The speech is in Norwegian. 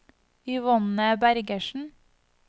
Yvonne Bergersen